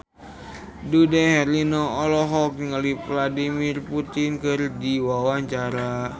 Dude Herlino olohok ningali Vladimir Putin keur diwawancara